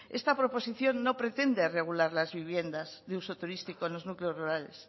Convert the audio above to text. esta proposición no pretende regular las viviendas de uso turístico en los núcleos rurales